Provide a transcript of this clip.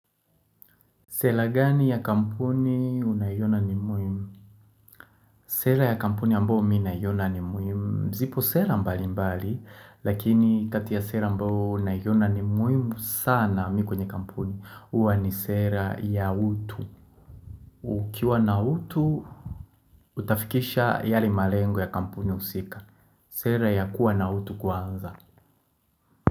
Sela gani ya kampuni unayoiona ni muhimu? Sela ya kampuni ambao mi naiona ni muhimu zipo sela mbali mbali Lakini kati ya sela ambao naiona ni muhimu sana mi kwenye kampuni Uwa ni sela ya utu Ukiwa na utu Utafikisha yale malengo ya kampuni usika Sela ya kuwa na utu kwanza.